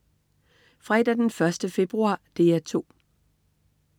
Fredag den 1. februar - DR 2: